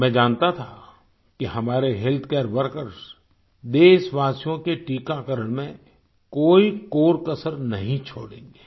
मैं जानता था कि हमारे हेल्थकेयर वर्कर्स देशवासियों के टीकाकरण में कोई कोरकसर नहीं छोड़ेंगे